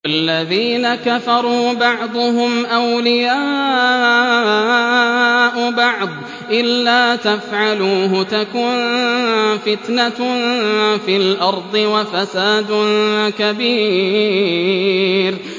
وَالَّذِينَ كَفَرُوا بَعْضُهُمْ أَوْلِيَاءُ بَعْضٍ ۚ إِلَّا تَفْعَلُوهُ تَكُن فِتْنَةٌ فِي الْأَرْضِ وَفَسَادٌ كَبِيرٌ